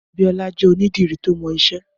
Abiola jè ònìdìrí tó mọ iṣẹ